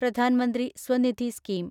Pradhan Mantri Svanidhi scheme